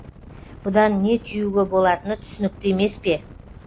бұдан не түюге болатыны түсінікті емеспе